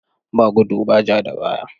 Ba gudu ba ja da baya.